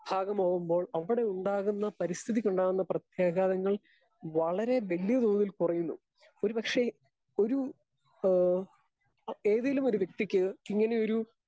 Speaker 2 ഭാഗമാകുമ്പോൾ അവടെ ഉണ്ടാകുന്ന പരിസ്ഥിതിയ്ക്കുണ്ടാകുന്ന പ്രത്യാഘാതങ്ങൾ വളരെ വല്യതോതിൽ കുറയുന്നു. ഒരുപക്ഷേ ഒരു ഏഹ് ഏതേലും ഒരു വ്യക്തിക്ക് ഇങ്ങനെയൊരു